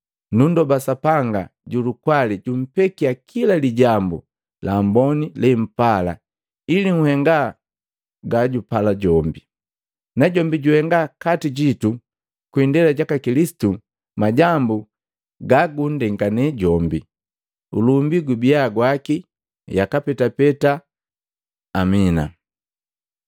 Nunndoba Sapanga ju lukwali jumpekia kila lijambu laamboni lempala ili nhenga ga jupala jombi, najombi juhenga nkati jitu kwi indela jaka Kilisitu majambu ga gunndengane jombi. Ulumbi gubia gwaki, yaka petapeta! Amina. Malobi gu kujomulela